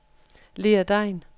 Lea Degn